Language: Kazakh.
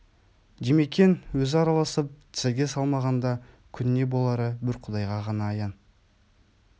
димекең өзі араласып тізеге салмағанда күн не болары бір құдайға ғана аян